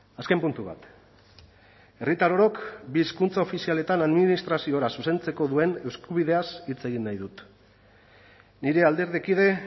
azken puntu bat herritar orok bi hizkuntza ofizialetan administraziora zuzentzeko duen eskubideaz hitz egin nahi dut nire alderdikide